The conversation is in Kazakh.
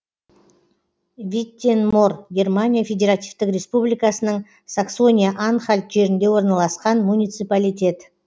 виттенмор германия федеративтік республикасының саксония анхальт жерінде орналасқан муниципалитет